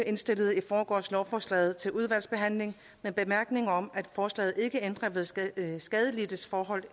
indstillede i forgårs lovforslaget til udvalgsbehandling med bemærkningen om at forslaget ikke ændrer ved skadelidtes skadelidtes forhold